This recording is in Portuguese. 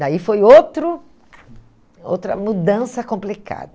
Daí foi outro outra mudança complicada.